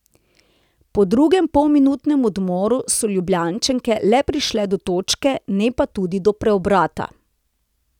Po drugem polminutnem odmoru so Ljubljančanke le prišle do točke, ne pa tudi do preobrata.